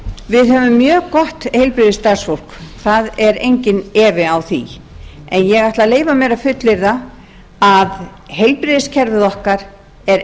við höfum mjög gott heilbrigðisstarfsfólk það er engin efi á því en ég ætla að leyfa mér að heilbrigðiskerfið okkar er